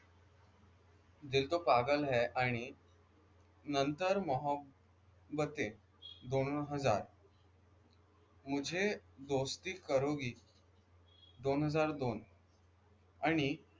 दिल तो पागल है आणि नंतर मोहब्बत दोन हजार मुझे दोस्ती करोगी दोन हजार दोन आणि